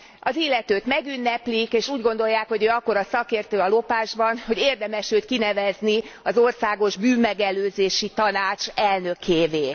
Az illetőt megünneplik, és úgy gondolják, hogy ő akkora szakértő a lopásban, hogy érdemes őt kinevezni az országos bűnmegelőzési tanács elnökévé.